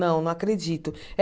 Não, não acredito. Eh